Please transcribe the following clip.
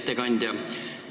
Hea ettekandja!